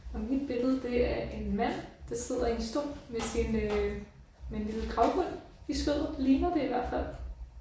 Og mit billede det er en mand der sidder i en stol med sin øh med en lille gravhund i skødet ligner det i hvert fald